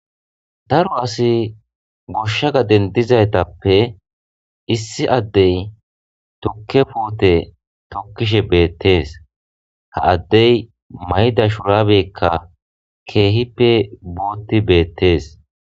Daro asi goshsha gaden dizaytappe issi addey tukke puote tokkishe beettees ha addey mayda shuraabekka keehippe buutti beettees